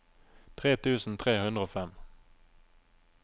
tre tusen tre hundre og fem